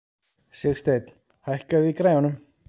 Sigsteinn, hækkaðu í græjunum.